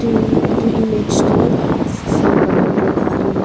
uuuuh itu image toh phone banabole laga image --